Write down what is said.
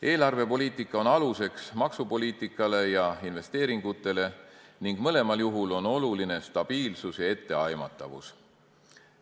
Eelarvepoliitika on aluseks maksupoliitikale ja investeeringutele ning mõlemal juhul on oluline stabiilsus ja etteaimatavus.